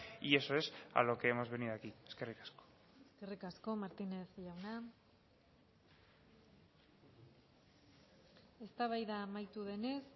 y eso es a lo que hemos venido aquí eskerrik asko eskerrik asko martínez jauna eztabaida amaitu denez